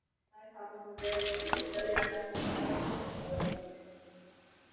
Þær hafa nú verið til lykta leiddar en hvað kostar svona fyrirtæki?